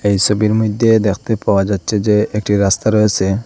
এই সবির মইধ্যে দেখতে পাওয়া যাচ্ছে যে একটি রাস্তা রয়েসে।